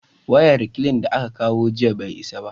wayan reklin da aka kawo jiya bai isa ba